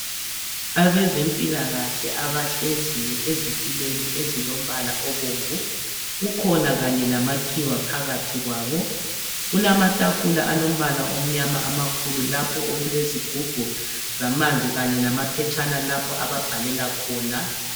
abezempilakahle abahleziyo ezitulweni ezilombala obomvu kukhona kanye lamakhiwa phakathi kwabo kulamatafula alombala omnyama kakulu lapho okulezigubhu zamanzi kanye lamaphetshana lapho ababhalela khona